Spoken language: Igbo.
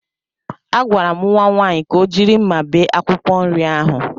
Agwara m nwa nwaanyị ka o jiri mma bee akwụkwọ nri ahụ.